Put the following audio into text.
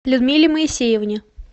людмиле моисеевне